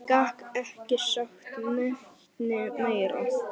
Gat ekki sagt neitt meira.